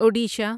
Odisha